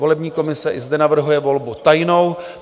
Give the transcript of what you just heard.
Volební komise i zde navrhuje volbu tajnou.